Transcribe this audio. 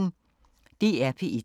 DR P1